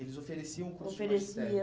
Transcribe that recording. Eles ofereciam o curso de magistério? Ofereciam